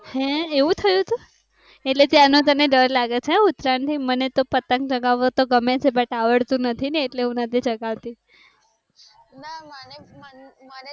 હે એવું થયું હતું એટલે તને ત્યારનો તને ડર લાગે છે ઉત્તરાયણ થી મને તોહ પતંગ ચગાવો તો ગમે છે પણ આવડતું નથી ને એટલે હું નથી ચાગતવી